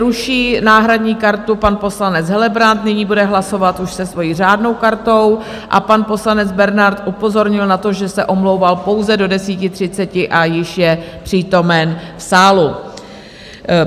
Ruší náhradní kartu pan poslanec Helebrant, nyní bude hlasovat už se svojí řádnou kartou, a pan poslanec Bernard upozornil na to, že se omlouval pouze do 10.30 a již je přítomen v sále.